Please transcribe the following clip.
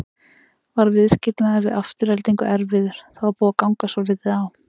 Var viðskilnaðurinn við Aftureldingu erfiður, það var búið að ganga svolítið á?